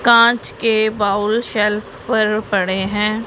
कांच के bowl shelf पर पड़े हैं।